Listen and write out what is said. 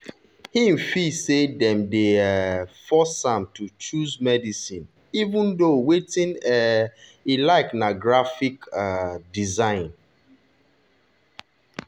him feel say dem dey um force am to choose medicine even though wetin um e like na graphic um design.